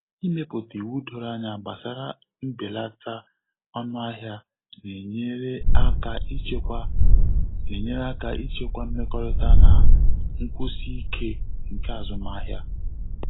Ịmepụta iwu doro anya gbasara mbeleta ọnụahịa na-enyere aka ichekwa na-enyere aka ichekwa mmekọrịta na nkwụsi ike nke azụmahịa.